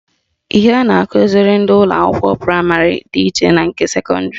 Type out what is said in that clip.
Ihe a na-akụziri ndị ụlọakwụkwọ praịmarị dị iche na nke sekọndịrị